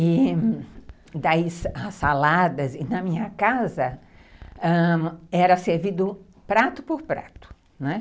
E daí as saladas, e na minha casa ãh era servido prato por prato, né.